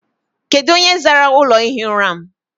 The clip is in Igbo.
Kedụ onye zara ụlọ ihi ụra m?